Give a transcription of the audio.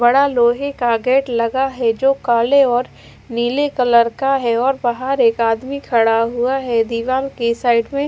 बड़ा लोहे का गेट लगा है जो काले और नीले कलर का है और बाहर एक आदमी खड़ा हुआ है दीवार के साइड में--